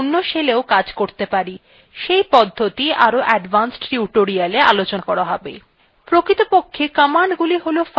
সেই পদ্ধতি আরো advanced tutorial আলোচনা করা হবে